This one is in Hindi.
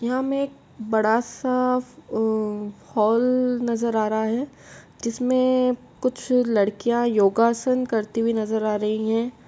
यहाँ हमें एक बड़ा सा हॉल नजर आ रहा है जिसमे कुछ लड़कियां योगासन करती हुई नजर आ रही हैं।